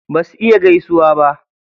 Basu iya gaisuwa ba.